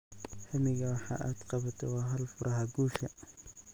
Hammiga waxa aad qabato waa hal furaha guusha.